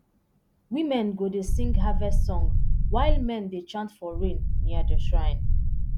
women go dey sing harvest song while men dey chant for rain near the shrine